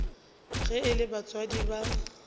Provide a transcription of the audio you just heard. ge e le batswadi ba